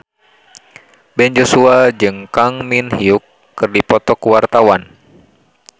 Ben Joshua jeung Kang Min Hyuk keur dipoto ku wartawan